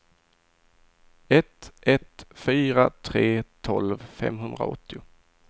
ett ett fyra tre tolv femhundraåttio